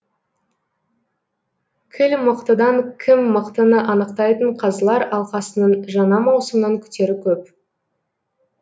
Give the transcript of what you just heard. кіл мықтыдан кім мықтыны анықтайтын қазылар алқасының жаңа маусымнан күтері көп